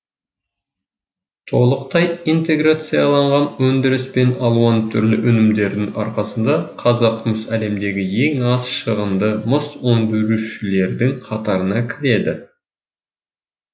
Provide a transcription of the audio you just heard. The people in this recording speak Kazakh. толықтай интеграцияланған өндіріс пен алуан түрлі өнімдердің арқасында қазақмыс әлемдегі ең аз шығынды мыс өндірушілердің қатарына кіреді